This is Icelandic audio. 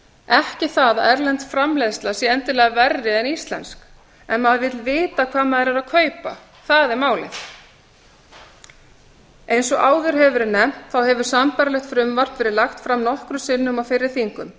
ekki það að erlend framleiðsla sé endilega verri en íslensk en maður vill vita hvað maður er að kaupa það er málið eins og áður hefur verið nefnt hefur sambærilegt frumvarp verið lagt fram nokkrum sinnum á fyrri þingum